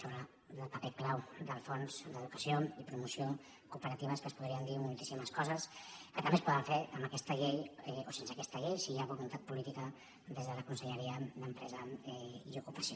sobre el paper clau del fons d’educació i promoció cooperatives que es podrien dir moltíssimes coses que també es poden fer amb aquesta llei o sense aquesta llei si hi ha voluntat política des de la conselleria d’empresa i ocupació